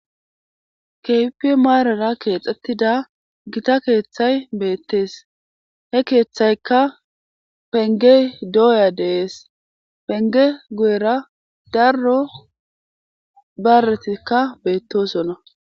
kehipe marara keexxettida gita keeththay beettees he keeththaykka penge dooya dees penge guyera darro baretikka beettosonna